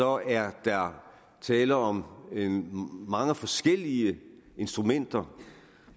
er der tale om mange forskellige instrumenter